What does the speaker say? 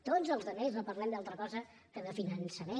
tots els altres no parlem d’altra cosa que de finançament